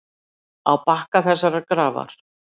Á bakka þessarar grafar.